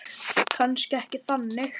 Kannski ekki þannig.